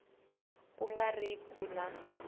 ku nga ri ku na